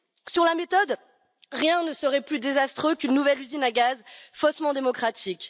Sur la méthode, rien ne serait plus désastreux qu'une nouvelle usine à gaz faussement démocratique.